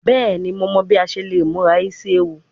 Bẹẹni Mo mọ bi a ṣe le mura isi ewu